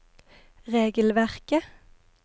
regelverket